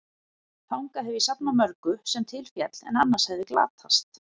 Þangað hef ég safnað mörgu, sem til féll, en annars hefði glatast.